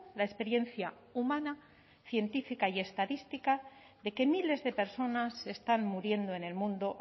la experiencia humana científica y estadística de que miles de personas se están muriendo en el mundo